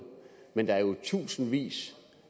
men det er jo tusindvis